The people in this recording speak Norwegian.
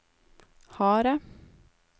harde